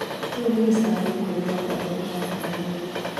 Kĩu nĩ gĩcambio kũrĩ andũ arĩa ũrarutĩra wĩra.